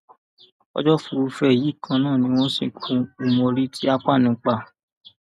ọjọ furuufee yìí kan náà ni wọn sìnkú umori ti akpan pa